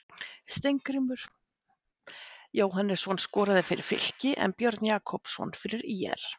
Steingrímur Jóhannesson skorað fyrir Fylki en Björn Jakobsson fyrir ÍR.